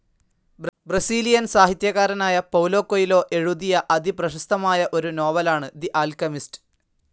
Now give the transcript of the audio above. Brazilian സാഹിത്യകാരനായ Paulo Coelho എഴുതിയ അതിപ്രേശസ്തമായ ഒരു നോവലാണ് തെ ആല്കെമിസ്റ്.